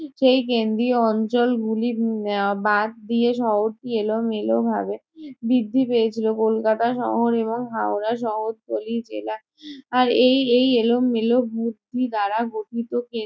সেই কেন্দ্রীয় অঞ্চলগুলি উম বাদ দিয়ে শহরটি এলোমেলো ভাবে বৃদ্ধি পেয়েছিলো কলকাতা শহর এবং হাওড়া শহরতলি জেলা। আহ আর এই এই এলোমেলো বৃদ্ধি দ্বারা গঠিত